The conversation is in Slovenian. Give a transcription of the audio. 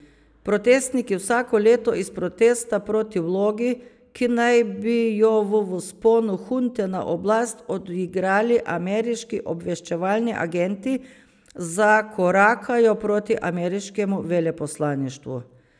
Protestniki vsako leto iz protesta proti vlogi, ki naj bi jo v vzponu hunte na oblast odigrali ameriški obveščevalni agenti, zakorakajo proti ameriškemu veleposlaništvu.